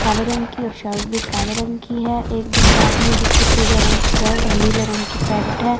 काले रंग की शर्ट भी काले रंग की है एक दूसरा आदमी जिसकी पीले रंग की शर्ट और नीले रंग की पैंट है।